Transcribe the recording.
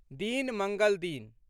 दिन, मङ्गल दिन